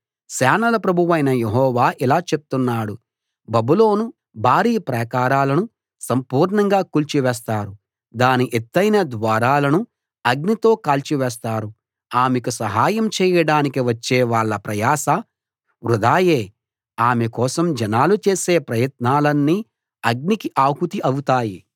సేనల ప్రభువైన యెహోవా ఇలా చెప్తున్నాడు బబులోను భారీ ప్రాకారాలను సంపూర్ణంగా కూల్చి వేస్తారు దాని ఎత్తయిన ద్వారాలను అగ్నితో కాల్చివేస్తారు ఆమెకు సహాయం చేయడానికి వచ్చే వాళ్ళ ప్రయాస వృథాయే ఆమె కోసం జనాలు చేసే ప్రయత్నాలన్నీ అగ్నికి ఆహుతి అవుతాయి